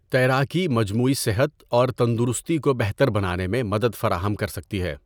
تیراکی مجموعی صحت اور تندرستی کو بہتر بنانے میں مدد فراہم کر سکتی ہے۔